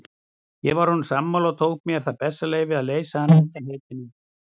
Ég var honum sammála og tók mér það bessaleyfi að leysa hann undan heitinu.